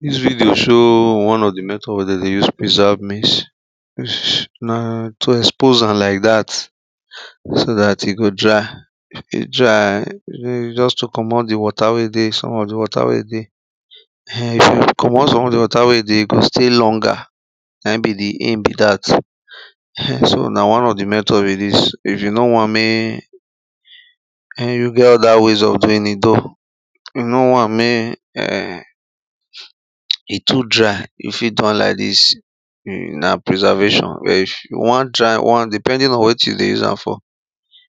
dis video show one of di method wey dem dey use preserve maize, na to expose am like dat so dat e go dry. if e dry just to commot di water wey dey some of di water wey dey um if you commot some of di water wey dey, e go stay longer na him be the aim bi dat um so na one of di method be dis if you no want mey e get other ways of doing it though. if you no want mek um e too dry, you fit do am like this na preservation but if you won dry one depending on wat you dey use am for.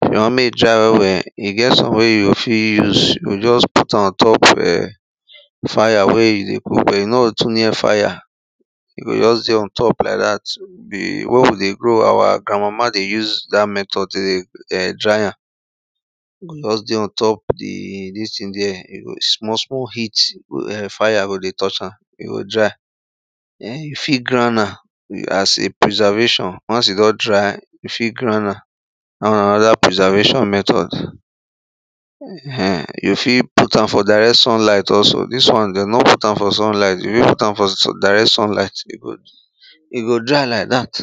if you want mek e dry well well, e get some wey you fit use, you go just put am ontop um fire wey you dey cook e no go too near fire e go just dey on top like dat. um wen we dey grow, our grandmama dey use dat method dey um dry am. E go just dey ontop di dis thing there e go small small heat um fire go dey touch am e go dry. um you fit grand am as a preservation, once e don dry, you fit grand am that one another prservation method. um you fit put am for direct sunlight also dis won de no put am for sunlight you fit put am for direct sunlight e go e go dry like that.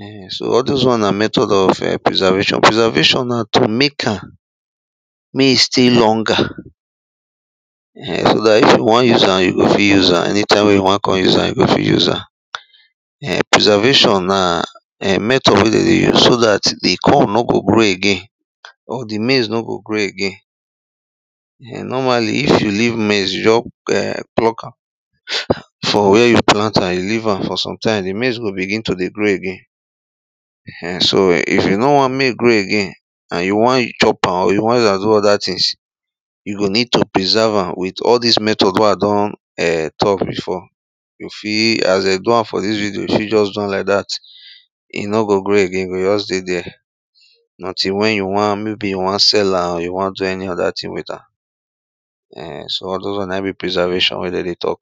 um so all those one na method of preservation. preservation na to mek am mek e stay longer um so dat if you won use am, you go fit use am anytime wey you wan con use am you go fit use am. um preservation na um method wey dem dey use so dat di corn no go grow again or di maize no go grow again. um normally if you leave maize, you nor um pluck am for where you plant am you leave am for sometimes di maize go begin to dey grow again. um so if you no want mek e grow again and you won chop am or you wan use am do oda thigs, you go need to preserve am with all dis method wey a don talk before. e fit as den do am for dis video you go do am like dat, e no go grow again e go jus dey there. until wen you wan maybe you wan sell am or you wan do any other thing with am, um so all those won na in be preservation wey de dey talk.